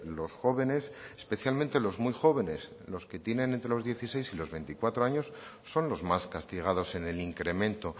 los jóvenes especialmente los muy jóvenes que tienen entre los dieciséis y los veinticuatro años son los más castigados en el incremento